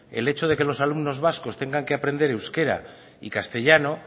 el hecho de que los alumnos vascos tengan que aprender euskera y castellano